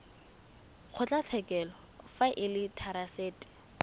kgotlatshekelo fa e le therasete